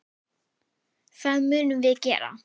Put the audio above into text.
Það munum við gera.